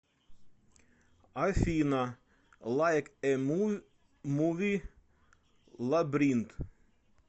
афина лайк э муви лабринт